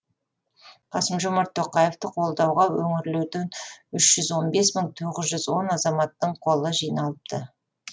қасым жомарт тоқаевты қолдауға өңірлерден үш жүз он бес мың тоғыз жүз он азаматтың қолы жиналыпты